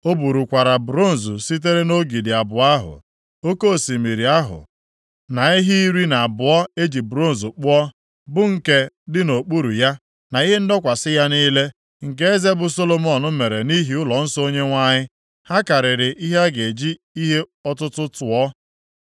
O burukwara bronz sitere nʼogidi abụọ ahụ, oke Osimiri ahụ na ehi iri na abụọ e ji bronz kpụọ, bụ nke dị nʼokpuru ya, na ihe ndọkwasị ya niile, nke eze bụ Solomọn mere nʼihi ụlọnsọ Onyenwe anyị. Ha karịrị ihe a ga-eji ihe ọtụtụ tụọ.